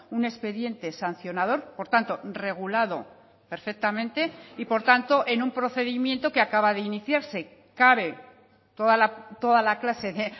un expediente sancionador por tanto regulado perfectamente y por tanto en un procedimiento que acaba de iniciarse cabe toda la clase de